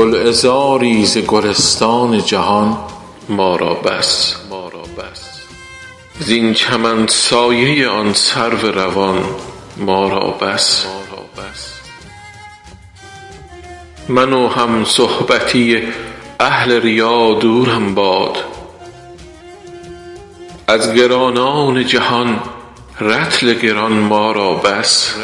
گلعذاری ز گلستان جهان ما را بس زین چمن سایه آن سرو روان ما را بس من و همصحبتی اهل ریا دورم باد از گرانان جهان رطل گران ما را بس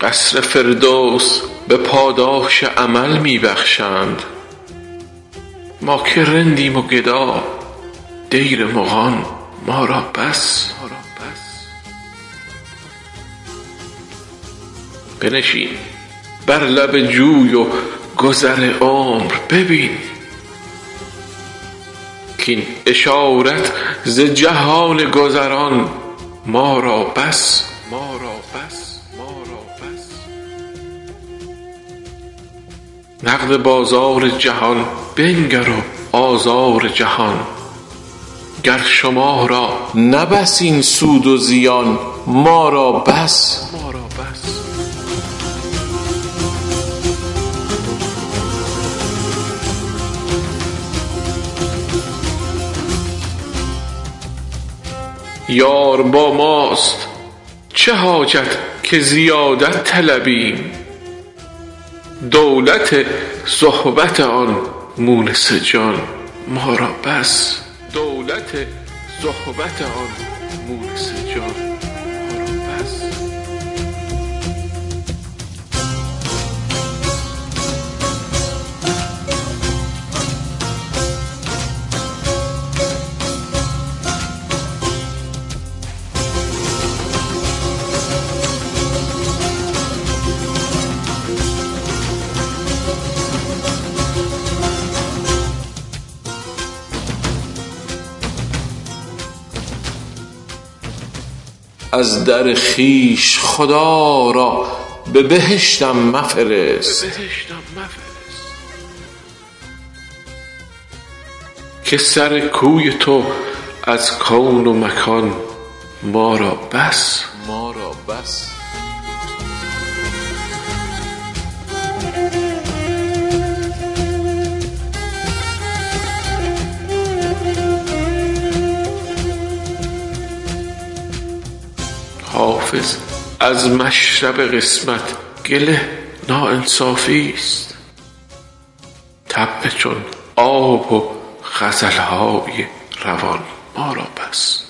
قصر فردوس به پاداش عمل می بخشند ما که رندیم و گدا دیر مغان ما را بس بنشین بر لب جوی و گذر عمر ببین کاین اشارت ز جهان گذران ما را بس نقد بازار جهان بنگر و آزار جهان گر شما را نه بس این سود و زیان ما را بس یار با ماست چه حاجت که زیادت طلبیم دولت صحبت آن مونس جان ما را بس از در خویش خدا را به بهشتم مفرست که سر کوی تو از کون و مکان ما را بس حافظ از مشرب قسمت گله ناانصافیست طبع چون آب و غزل های روان ما را بس